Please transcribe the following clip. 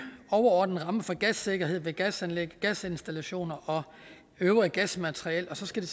overordnet ramme for gassikkerheden ved gasanlæg gasinstallationer og øvrigt gasmateriel og så skal